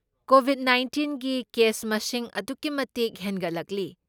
COVID ꯅꯥꯢꯟꯇꯤꯟꯒꯤ case ꯃꯁꯤꯡ ꯑꯗꯨꯛꯀꯤ ꯃꯇꯤꯛ ꯍꯦꯟꯒꯠꯂꯛꯂꯤ꯫